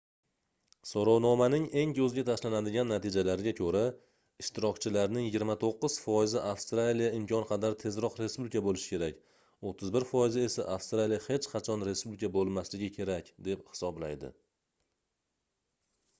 soʻrovnomaning eng koʻzga tashlanadigan natijalariga koʻra ishtirokchilarning 29 foizi avstraliya imkon qadar tezroq respublika boʻlishi kerak 31 foizi esa avstraliya hech qachon respublika boʻlmasligi kerak deb hisoblaydi